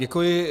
Děkuji.